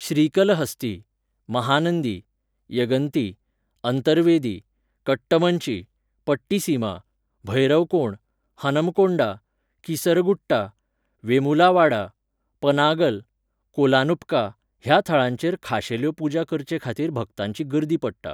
श्रीकलहस्ती, महानंदी, यगंती, अंतरवेदी, कट्टमंची, पट्टीसीमा, भैरवकोण, हनमकोंडा, कीसरगुट्टा, वेमुलावाडा, पनागल, कोलानुपका ह्या थळांचेर खाशेल्यो पुजां करचेखातीर भक्तांची गर्दी पडटा.